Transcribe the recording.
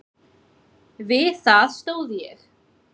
Við það stóð ég.